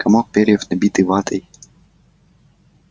комок перьев набитый ватой